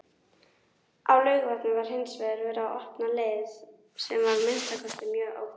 Á Laugarvatni var hinsvegar verið að opna leið, sem var að minnsta kosti mjög ódýr.